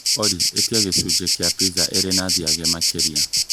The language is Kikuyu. Olly etia gĩcunjĩ kia pizza ĩrĩ na cheese makĩria